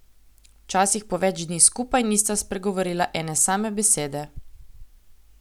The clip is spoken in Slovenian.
Včasih po več dni skupaj nista spregovorila ene same besede.